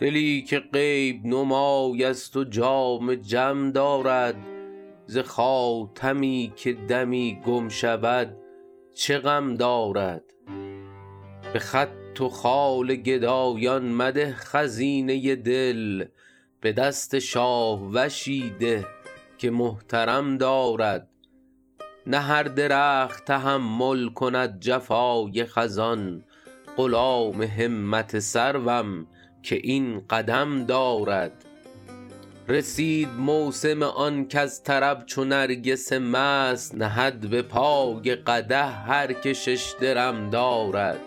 دلی که غیب نمای است و جام جم دارد ز خاتمی که دمی گم شود چه غم دارد به خط و خال گدایان مده خزینه دل به دست شاهوشی ده که محترم دارد نه هر درخت تحمل کند جفای خزان غلام همت سروم که این قدم دارد رسید موسم آن کز طرب چو نرگس مست نهد به پای قدح هر که شش درم دارد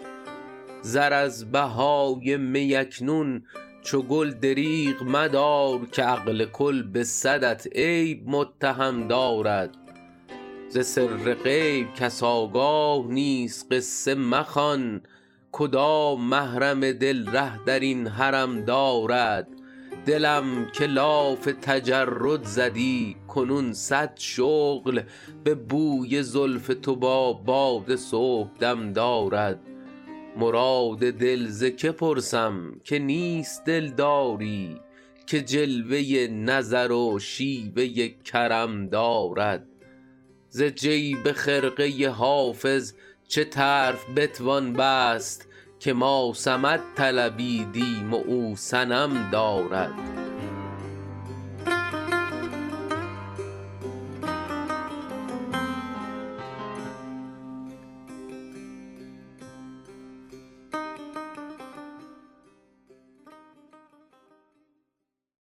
زر از بهای می اکنون چو گل دریغ مدار که عقل کل به صدت عیب متهم دارد ز سر غیب کس آگاه نیست قصه مخوان کدام محرم دل ره در این حرم دارد دلم که لاف تجرد زدی کنون صد شغل به بوی زلف تو با باد صبحدم دارد مراد دل ز که پرسم که نیست دلداری که جلوه نظر و شیوه کرم دارد ز جیب خرقه حافظ چه طرف بتوان بست که ما صمد طلبیدیم و او صنم دارد